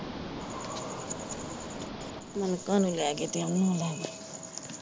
ਮਲਕਾ ਨੂੰ ਲੈ ਗਏ ਤੇ ਉਹਨੂੰ ਲੈ ਗਏ।